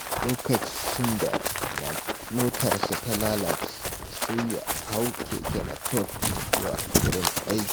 Lokacin da motarsa ta lalace, sai ya hau keke napep zuwa wurin aiki.